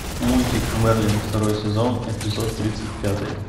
мультик мерлин второй сезон эпизод тридцать пятый